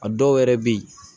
A dɔw yɛrɛ bɛ ye